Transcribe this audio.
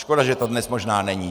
Škoda, že to dnes možná není.